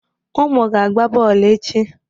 Ụmụ ga-agba bọọlụ echi.